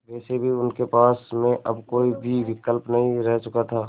वैसे भी उनके पास में अब कोई भी विकल्प नहीं रह चुका था